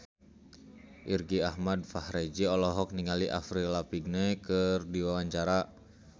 Irgi Ahmad Fahrezi olohok ningali Avril Lavigne keur diwawancara